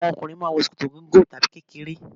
Àwọn okùnrin mà a n wo ṣòkòtò gígùn tàbí kékeré